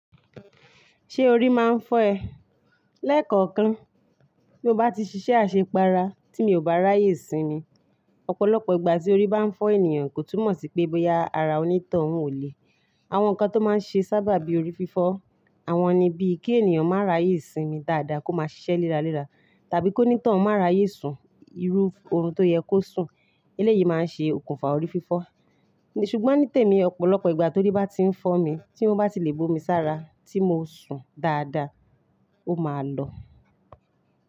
Ṣé orí máa ń fọ́ ẹ? Lẹ́kọ̀ọ̀kan, bí mo bá ti ṣiṣẹ́ àṣepara tí mi ò bá ráyè sinmi. Ọ̀pọ̀lọpọ̀ ìgbà tí orí bá ń fọ́ ènìyàn kò túmọ̀ sí pé bóyá ara onítọ̀hún ò le. Àwọn nǹkan tó máa ń ṣe sábàbi orí fífọ́, àwọn ni bíi kí ènìyàn máa ráyè sinmi dáadáa kó máa ṣiṣẹ́ léra léra, tàbí kó ní tọ̀hún máa ráyè sùn irú orun tó yẹ kó sùn. Eléyìí máa ń ṣe òkùnfà orí fífọ́. Ṣùgbọ́n nítèmi, ọ̀pọ̀lọpọ̀ ìgbà t'ori bá ti ń fọ́ mi, tí mo bá ti lè bo mi sára tí mo sùn dáadáa, ó máa lọ.